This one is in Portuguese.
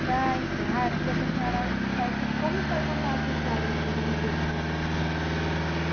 Para encerrar, eu queria que a senhora dissesse como foi contar a sua história aqui no museu para a gente.